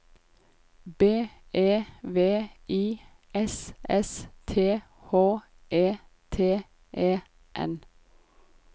B E V I S S T H E T E N